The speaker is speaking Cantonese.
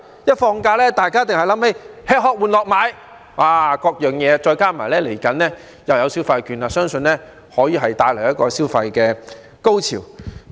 一旦放假，大家必定會想起吃、喝、玩、樂、買等，再加上未來又有消費券，相信可以帶來一個消費高潮。